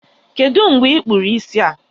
Kedụ mgbe I kpụrụ isi a?